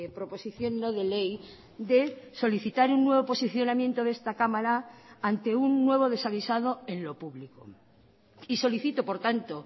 proposición no de ley de solicitar un nuevo posicionamiento de esta cámara ante un nuevo desaguisado en lo público y solicito por tanto